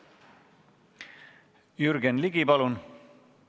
Jürgen Ligi, palun!